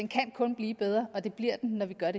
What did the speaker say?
kan kun blive bedre og det bliver den når vi gør